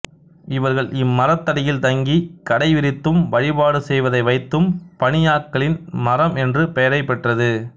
இவர்கள் இம்மரத்தடியில் தங்கி கடை விரித்தும் வழிபாடு செய்வதை வைத்தும் பனியாக்களின் மரம் என்ற பெயரை பெற்றது